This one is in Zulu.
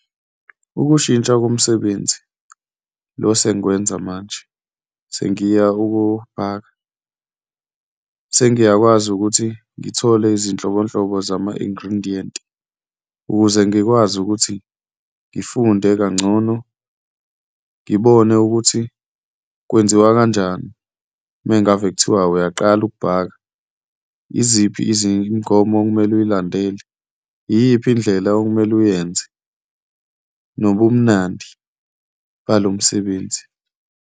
Ukushintsha komsebenzi lo sengikwenza manje sengiya sengiwufaka, sengiyakwazi ukuthi ngithole izinhlobonhlobo zama-ingredient, ukuze ngikwazi ukuthi ngifunde kangcono, ngibone ukuthi kwenziwa kanjani uma ngabe kuthiwa uyaqala ukubhaka. Yiziphi imigomo okumele uyilandele, iyiphi indlela okumele uyenze nobumnandi balo msebenzi?